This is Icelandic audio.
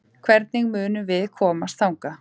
Hvernig munum við komast þangað?